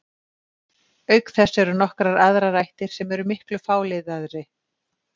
Auk þess eru nokkrar aðrar ættir sem eru miklu fáliðaðri.